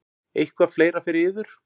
Eitthvað fleira fyrir yður?